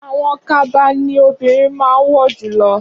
Awọn kaba ni obirin máa wọ julọ